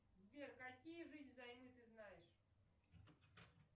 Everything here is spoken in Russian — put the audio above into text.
сбер какие жизнь взаймы ты знаешь